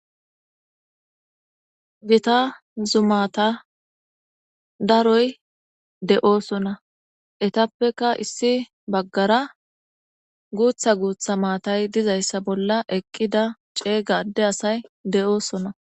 Gita zumata daroy de'osona etappeka issi bagara gutha gutha maatay dizaysa bolla eqida ceega adde asay de'osona.